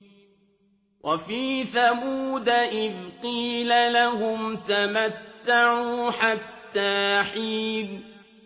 وَفِي ثَمُودَ إِذْ قِيلَ لَهُمْ تَمَتَّعُوا حَتَّىٰ حِينٍ